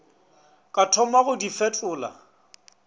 ka thoma go di fetola